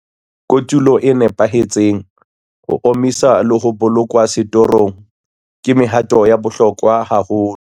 Kotulo e nepahetseng, ho omiswa le ho bolokwa setorong ke mehato ya bohlokwa haholo.